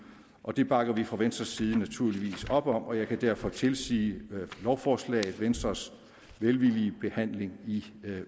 og det bakker vi fra venstres side naturligvis op om og jeg kan derfor tilsige lovforslaget venstres velvillige behandling i